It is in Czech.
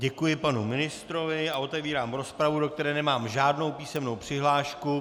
Děkuji panu ministrovi a otevírám rozpravu, do které nemám žádnou písemnou přihlášku.